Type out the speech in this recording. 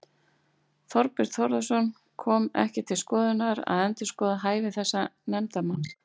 Þorbjörn Þórðarson: Kom ekki til skoðunar að endurskoða hæfi þessa nefndarmanns?